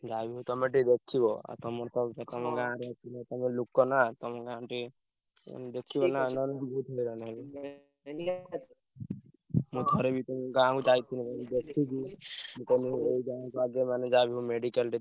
ଯାହାବି ହଉ ତମେ ଟିକେ ଦେଖିବ, ତମର ତ ତମ ଲୋକ ନା ତମ ଗାଁକୁ ଟିକେ ଉଁ ମୁଁ ଥରେ ବି ତମ ଗାଁକୁ ଯାଇ ଥିଲି ଦେଖିଛି ମୁଁ କହିଲି ଏଇ ଗାଁରେ ସାହାର୍ଯ୍ୟ କଲେ ଯାହାବି ହଉ medical ଟେ।